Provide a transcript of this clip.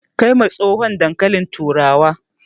Kai ma tsohon dankalin turawa